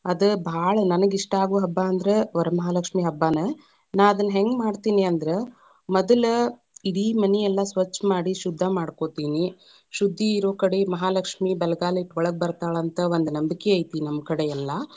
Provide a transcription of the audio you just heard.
ಅದ ಭಾಳ‌ ನನಗ ಇಷ್ಟ ಆಗೋ ಹಬ್ಬಾ ಅಂದ್ರ ವರಮಹಾಲಕ್ಷ್ಮೀ ಹಬ್ಬಾನ, ನಾ ಅದನ್ನ ಹೆಂಗ್‌ ಮಾಡ್ತೇನಿ ಅಂದ್ರ, ಮದಲ ಈಡೀ ಮನಿಯಲ್ಲಾ ಸ್ವಚ್ಛ ಮಾಡಿ, ಶುದ್ಧ ಮಾಡಕೋತೀನಿ, ಶುದ್ಧಿ ಇರೊಕಡೆ ಮಹಾಲಕ್ಷ್ಮೀ ಬಲಗಾಲ ಇಟ್ಟ ಒಳಗ ಬತಾ೯ಳಂತ ಒಂದ ನಂಬಿಕೆ ಐತಿ ನಮ್ಮ ಕಡೆ ಎಲ್ಲಾ.